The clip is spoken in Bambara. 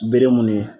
Bere mun ye